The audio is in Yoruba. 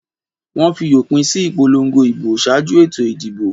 Wọ́n fi òpin sí ìpolongo ìbò ṣáájú ètò ìdìbò.